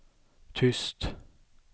tyst